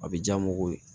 A bɛ diya n mago ye